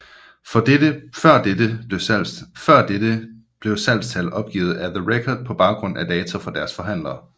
Før dette blev salgstal opgivet af The Record på baggrund af data fra deres forhandlere